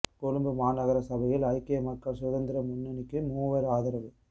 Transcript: கொழும்பு மாநகர சபையில் ஐக்கிய மக்கள் சுதந்திர முன்னணிக்கு மூவர் ஆதரவு